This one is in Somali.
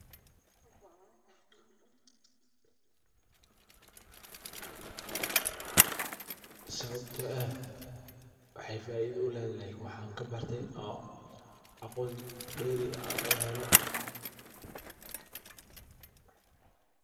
Sababta oo ah waxeey faida uledahay waxaan ka barte oo aan aqoon dewri ah ooga barte.